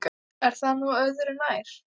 En það er nú örðu nær.